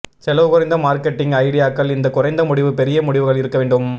செலவு குறைந்த மார்க்கெட்டிங் ஐடியாக்கள் இந்த குறைந்த முடிவு பெரிய முடிவுகள் இருக்க முடியும்